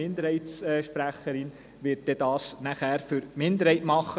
Die Minderheitssprecherin wird dies dann für die Minderheit tun.